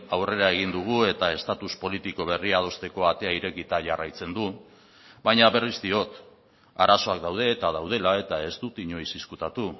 aurrera egin dugu eta estatus politiko berri adostekoa atea irekita jarraitzen du baina berriz diot arazoak daude eta daudela eta ez dut inoiz ezkutatu